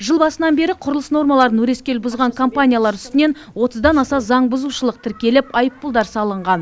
жыл басынан бері құрылыс нормаларын өрескел бұзған компаниялар үстінен отыздан аса заңбұзушылық тіркеліп айыппұлдар салынған